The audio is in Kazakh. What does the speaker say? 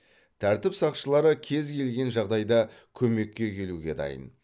тәртіп сақшылары кез келген жағдайда көмекке келуге дайын